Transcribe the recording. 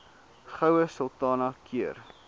goue sultana keur